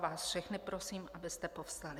Vás všechny prosím, abyste povstali.